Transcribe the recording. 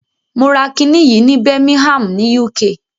Mo ra kiní yìí ní Birmingham ni UK.